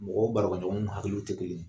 Mɔgɔ barakɛ ɲɔgɔnw hakililw tɛ kelen ye